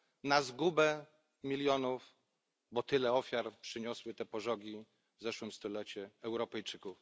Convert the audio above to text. na zgubę milionów, bo tyle ofiar przyniosły te pożogi w zeszłym stuleciu Europejczykom.